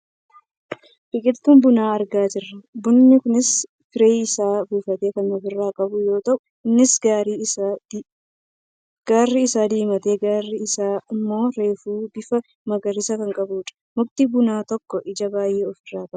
Biqiltuu bunaa argaa jirra. Bunni kunis firee isaa buufatee kan ofirraa qabu yoo ta'u, innis gariin isaa diimatee gariin isaa ammoo reefu bifa magariisaa kan qabudha. Mukti bunaa tokko ija baayyee of irraa qaba.